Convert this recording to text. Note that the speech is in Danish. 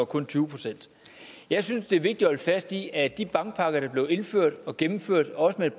kun tyve procent jeg synes det er vigtigt at holde fast i at de bankpakker der blev indført og gennemført også med et